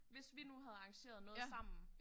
Hvis vi nu havde arrangeret noget sammen